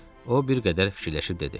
O bir qədər fikirləşib dedi.